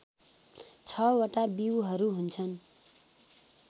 ६ वटा बीउहरू हुन्छन्